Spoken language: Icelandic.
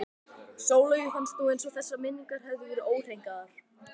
Sóleyju fannst nú eins og þessar minningar hefðu verið óhreinkaðar.